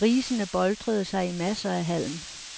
Grisene boltrede sig i masser af halm.